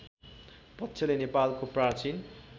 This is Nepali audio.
पक्षले नेपालको प्राचीन